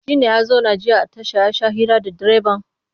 Shi ne ya zauna jiya a tasha ya sha hira da direban?